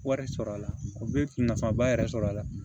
Wari sɔrɔ a la u bɛ nafaba yɛrɛ sɔrɔ a la